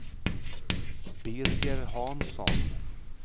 Birger Hansson